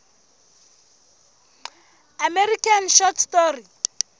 american short story